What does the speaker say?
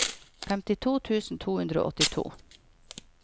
femtito tusen to hundre og åttito